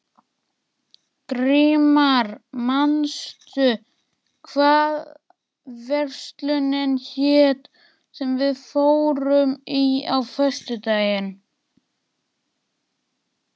Grímar, manstu hvað verslunin hét sem við fórum í á föstudaginn?